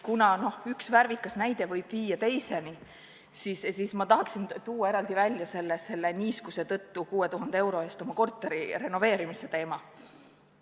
Kuna üks värvikas näide võib viia teiseni, siis tahan eraldi välja tuua niiskuse tõttu 6000 euro eest oma korteri renoveerimise teema.